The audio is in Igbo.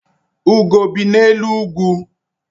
Ugo bi n'elu ugwu.